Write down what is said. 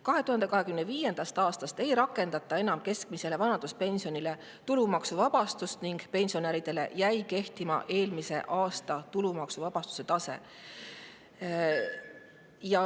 2025. aastast ei rakendata enam keskmisele vanaduspensionile tulumaksuvabastust ning pensionäridele jäi kehtima eelmise aasta tulumaksuvabastuse tase.